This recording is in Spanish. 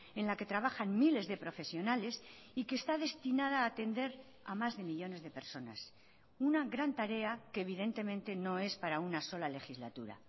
en la que trabajan miles de profesionales y que está destinada a atender a más de millónes de personas una gran tarea que evidentemente no es para una sola legislatura